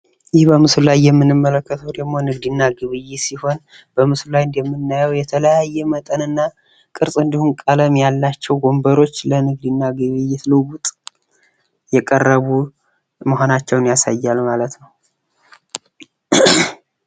ይህ በምስሉ ላይ የምንመለከተው ደግሞ ንግድ እና ግብይት ሲሆን በምልሱ ላይም የምናየው የተለያየ መጠንና ቅርፅ እንዲሁም ቀለም ያላቸው ለንግድና ግብይት ልውውጥ የቀረቡ መሆናቸውን ያሳያል ማለት ነው::